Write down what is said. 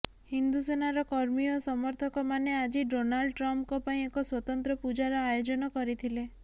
ହିିନ୍ଦୁ ସେନାର କର୍ମୀ ଓ ସମର୍ଥକମାନେ ଆଜି ଡୋନାଲ୍ଡ ଟ୍ରମ୍ପଙ୍କ ପାଇଁ ଏକ ସ୍ୱତନ୍ତ୍ର ପୂଜାର ଆୟୋଜନ କରିଥିଲେ